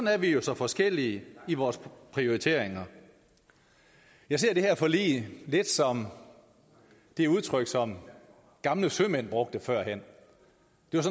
er vi jo så forskellige i vores prioriteringer jeg ser det her forlig lidt som det udtryk som gamle sømænd brugte førhen